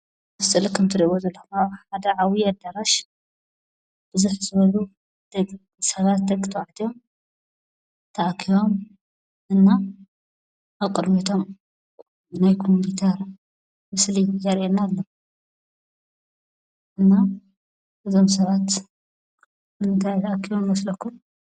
እዚ ስእሊ ከምትሪእዎ ዘለኹም ኣብ መተኣኻኸቢ ሓደ ዓብዪ ኣዳራሽ ብዝሕ ዝበሉ ሰባት ደቂ ተባዕትዮ ተኣኪቦም እና ኣብ ቅድሚቶም ናይ ኮምፒተር ምስሊ ዘርኤና ኣሎ። እና እዞም ሰባት ንምንታይ ተኣኪቦም ይመስለኩም?